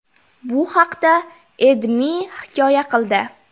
Bu haqda AdMe hikoya qildi .